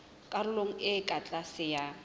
karolong e ka tlase ya